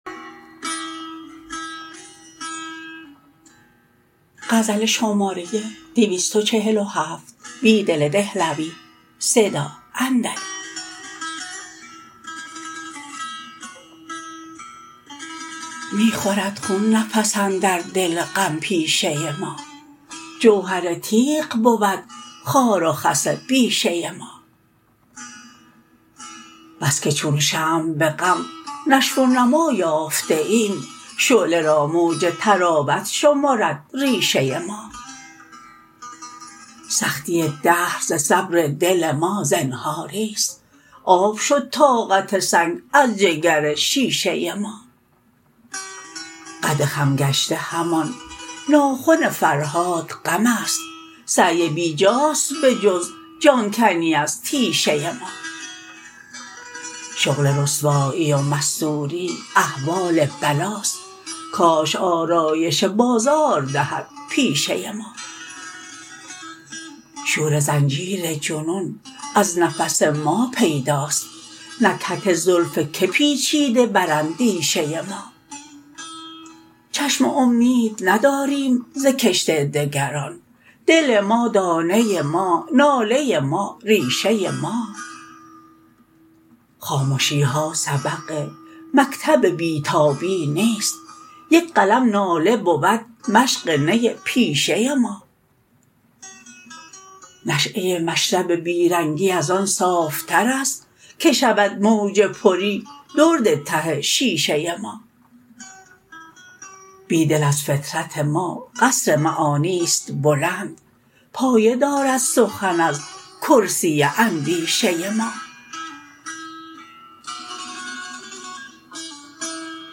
می خورد خون نفس اندر دل غم پیشه ما جوهر تیغ بود خار و خس بیشه ما بس که چون شمع به غم نشو و نما یافته ایم شعله را موج طراوت شمرد ریشه ما سختی دهر ز صبر دل ما زنهاری ست آب شد طاقت سنگ از جگر شیشه ما قد خم گشته همان ناخن فرهاد غم است سعی بیجاست به جز جان کنی ازتیشه ما شغل رسوایی و مستوری احوال بلاست کاش آرایش بازار دهد پیشه ما شور زنجیر جنون از نفس ما پیداست نکهت زلف که پیچیده بر اندیشه ما چشم امید نداریم ز کشت دگران دل ما دانه ما ناله ما ریشه ما خامشی ها سبق مکتب بیتابی نیست یک قلم ناله بود مشق نی پیشه ما نشیه مشرب بیرنگی ازآن صافترست که شود موج پری درد ته شیشه ما بیدل از فطرت ما قصر معانی ست بلند پایه دارد سخن از کرسی اندیشه ما